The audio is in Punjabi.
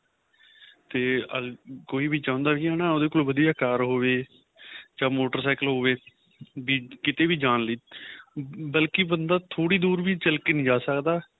ਤੇ ਕੋਈ ਵੀ ਚਾਹੁੰਦਾ ਸੀ ਹੈਨਾ ਉਹਦੇ ਕੋਲ ਵਧੀਆ ਕਾਰ ਹੋਵੇ ਚਾਹੇ motorcycle ਵੀ ਕਿਥੇ ਵੀ ਜਾਣ ਲਈ ਬਲਕਿ ਬੰਦਾ ਥੋੜੀ ਦੂਰ ਵੀ ਚੱਲ ਕੇ ਨਹੀਂ ਜਾਂ ਸਕਦਾ